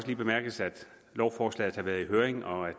lige bemærkes at lovforslaget har været i høring og at